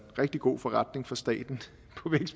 rigtig god forretning for staten